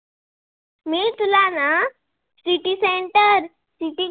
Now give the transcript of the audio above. city center city